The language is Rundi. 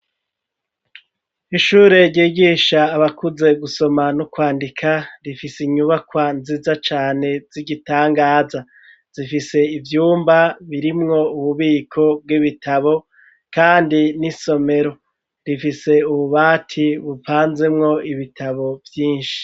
ishure ryigisha abakuze gusoma no kwandika rifise inyubakwa nziza cane z'igitangaza zifise ivyumba birimwo ububiko bw'ibitabo kandi n'isomero, rifise ububati bupanzemwo ibitabo vyinshi.